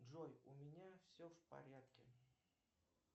джой у меня все в порядке